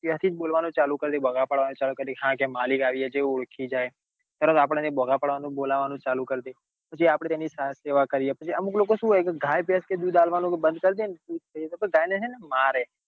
ત્યાં થી બોલવાનું ચાલુ કરી દે બોગ પાડવાનું ચાલુ કરી દે કે હાય મલિક આવ્યા ઓળખી જાય તરત એ બોગ પાડવાનું આપડો ને બોલવાનું ચાલુ કરી દે પછી આપડે તેની સૌ સેવા કરીએ પછી અમુક લોકો સુ હોય ગાય ભેંસ કે દૂધ આપવાનું બન્દ કરી દે તો ગાય ને એને મારે